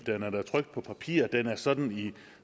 den er da trykt på papir den er sådan i